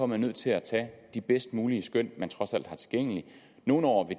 man nødt til at tage de bedst mulige skøn der trods alt er tilgængelige nogle år vil